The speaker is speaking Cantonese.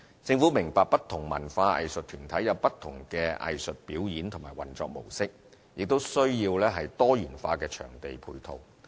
政府明白不同文化藝術團體有不同的藝術表演和運作模式，也需要多元化的場地配套。